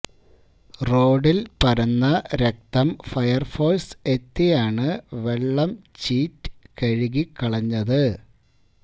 റോഡില് പരന്ന രക്തം ഫയര്ഫോഴ്സ് എത്തിയാണ് വെള്ളം ചീറ്റ് കഴുകി കളഞ്ഞത്